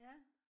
ja